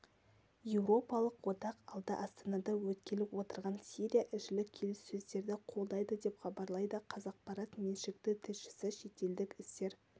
еуропалық одақ алда астанада өткелі отырған сирия ішілік келіссөздерді қолдайды деп хабарлайды қазақпарат меншікті тілшісі шетелдік істер